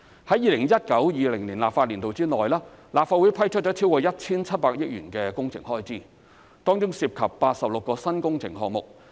在 2019-2020 立法年度內，立法會批出超過 1,700 億元的工程開支，當中涉及86個新工程項目。